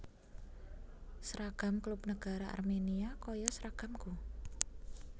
Seragam klub negara Armenia koyo seragamku